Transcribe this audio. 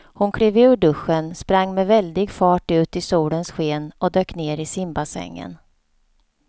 Hon klev ur duschen, sprang med väldig fart ut i solens sken och dök ner i simbassängen.